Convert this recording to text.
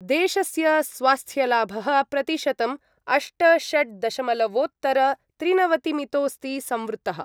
देशस्य स्वास्थ्यलाभः प्रतिशतम् अष्ट षड् दशमलवोत्तरत्रिनवतिमितोस्ति संवृत्तः।